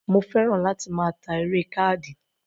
Mo fẹ́ràn láti máa ta eré káàdì